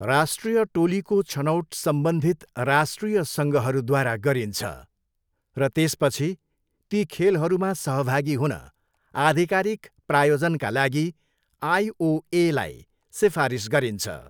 राष्ट्रिय टोलीको छनौट सम्बन्धित राष्ट्रिय सङ्घहरूद्वारा गरिन्छ र त्यसपछि ती खेलहरूमा सहभागी हुन आधिकारिक प्रायोजनका लागि आइओएलाई सिफारिस गरिन्छ।